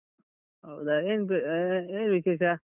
ಹೌದಾ? ಏನ್ ಅಹ್ ಏನು ವಿಶೇಷ?